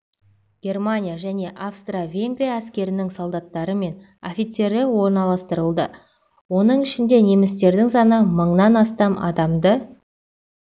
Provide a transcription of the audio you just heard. германия және австро-венгрия әскерінің солдаттары мен офицерлері орналастырылды оның ішінде немістердің саны мыңнан астам адамды